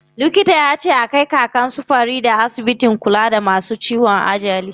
Likita yace a kai Kakan su Farida asibitin kula da masu ciwon ajali.